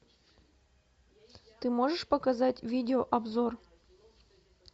ты можешь показать видео обзор